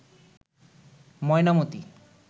Mainamati